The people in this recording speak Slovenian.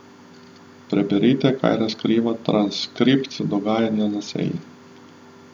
Preberite, kaj razkriva transkript dogajanja na seji.